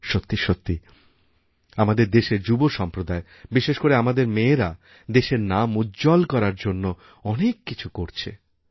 সত্যি সত্যি আমাদের দেশের যুব সম্প্রদায়বিশেষ করে আমাদের মেয়েরা দেশের নাম উজ্জ্বল করার জন্য অনেক কিছু করছে